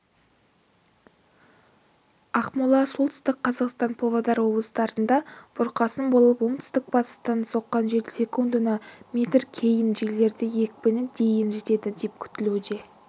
ақмола солтүстік қазақстан павлодар облыстарында бұрқасын болып оңтүстік-батыстан соққан жел секундына метр кей жерлерде екпіні дейін жетеді деп күтілуде